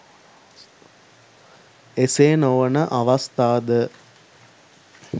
එසේ නොවන අවස්ථා ද